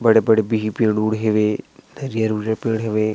बड़े-बड़े बिहि पेड़-उड़ हवै हरियर-उरीयर पेड़ हवै।